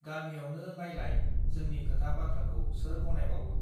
गमियावनो नायलाय जोंनि खोथा बाथ्राखौ सोर गनायबावो